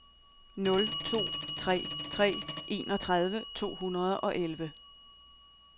nul to tre tre enogtredive to hundrede og elleve